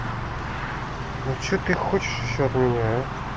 ну что ты хочешь ещё от меня а